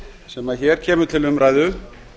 sem hér kemur til umræðu